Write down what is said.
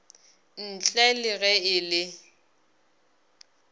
ntle le ge e le